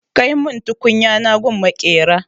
Kai mun tukunya na gun maƙera!